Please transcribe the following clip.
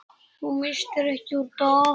Þú misstir ekki úr dag.